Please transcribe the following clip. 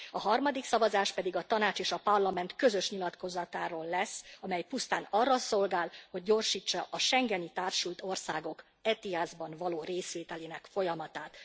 A harmadik szavazást pedig a Tanács és a Parlament közös nyilatkozatáról lesz, amely pusztán arra szolgál, hogy gyorsítsa a schengeni társult országok ETIAS ban való részvételének folyamatát.